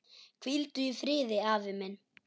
Hvíldu í friði, afi minn.